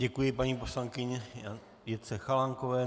Děkuji paní poslankyni Jitce Chalánkové.